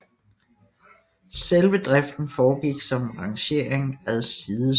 Selve driften foregik som rangering ad sidespor